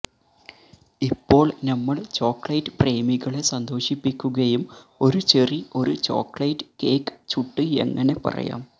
ഇപ്പോൾ നമ്മൾ ചോക്ലേറ്റ് പ്രേമികളെ സന്തോഷിപ്പിക്കുകയും ഒരു ചെറി ഒരു ചോക്ലേറ്റ് കേക്ക് ചുട്ട് എങ്ങനെ പറയാം